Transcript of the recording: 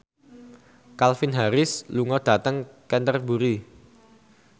Calvin Harris lunga dhateng Canterbury